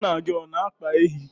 nna gị ọ na-akpa ehi?